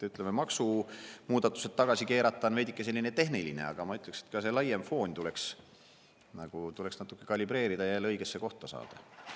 Ütleme, maksumuudatused tagasi keerata on veidike selline tehniline asi, aga ma ütleksin, et laiemat fooni tuleks natukene kalibreerida ja see jälle õigesse kohta saada.